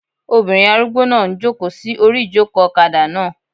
Obìnrin arúgbó náà n jòkó sí orí ìjòkó ọ̀kadà náà